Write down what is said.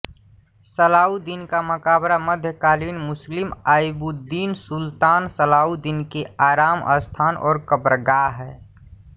सलाउद्दीन का मकबरा मध्यकालीन मुस्लिम अय्युबीद सुल्तान सलाउद्दीन के आराम स्थान और कब्रगाह है